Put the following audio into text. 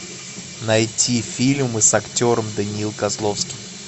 найти фильмы с актером даниил козловский